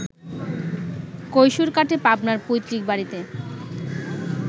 কৈশোর কাটে পাবনার পৈত্রিক বাড়িতে